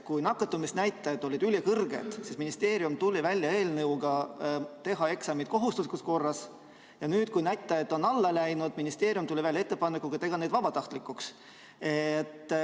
Kui nakatumisnäitajad olid ülikõrged, siis ministeerium tuli välja eelnõuga teha eksamid kohustuslikus korras, ja nüüd, kui näitajad on alla läinud, tuli ministeerium välja ettepanekuga teha need vabatahtlikuks.